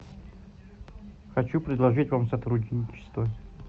хочу предложить вам сотрудничество